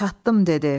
çatdım dedi.